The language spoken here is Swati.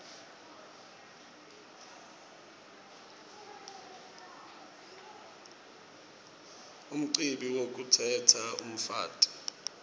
umcibi wekukhetsa umfati